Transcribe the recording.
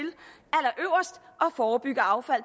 forebygge affald